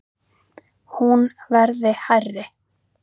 Hún verði hærri.